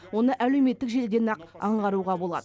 оны әлеуметтік желіден ақ аңғаруға болады